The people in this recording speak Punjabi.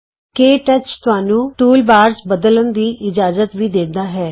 ਕੇ ਟੱਚ ਤੁਹਾਨੂੰ ਟੂਲਬਾਰਜ਼ ਬਦਲਨ ਦੀ ਇਜਾਜ਼ਤ ਵੀ ਦਿੰਦਾ ਹੇ